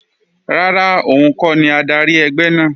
Rárá, òun kọ́ ni adarí ẹgbẹ́ náà